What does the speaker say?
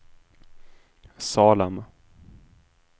Salem